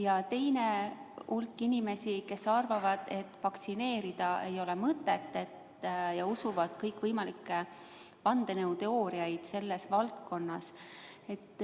Ja teine hulk inimesi arvab, et vaktsineerida ei ole mõtet, nad usuvad kõikvõimalikke vandenõuteooriaid selles valdkonnas.